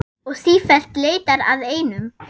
Og sífellt leitar að einum.